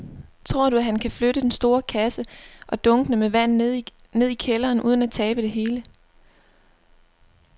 Tror du, at han kan flytte den store kasse og dunkene med vand ned i kælderen uden at tabe det hele?